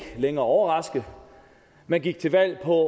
længere overraske man gik til valg på